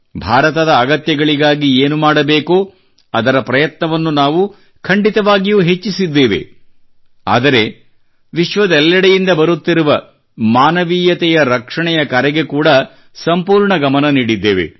ಭಾರತದ ಅಗತ್ಯಗಳಿಗಾಗಿ ಏನು ಮಾಡಬೇಕೋ ಅದರ ಪ್ರಯತ್ನವನ್ನು ನಾವು ಖಂಡಿತವಾಗಿಯೂ ಹೆಚ್ಚಿಸಿದ್ದೇವೆ ಆದರೆ ವಿಶ್ವದೆಲ್ಲೆಡೆಯಿಂದ ಬರುತ್ತಿರುವ ಮಾನವೀಯತೆಯ ರಕ್ಷಣೆಯ ಕರೆಗೆ ಕೂಡಾ ಸಂಪೂರ್ಣ ಗಮನ ನೀಡಿದ್ದೇವೆ